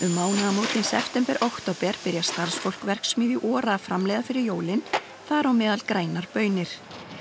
mánaðamótin september október byrjar starfsfólk verksmiðju ORA að framleiða fyrir jólin þar á meðal grænar baunir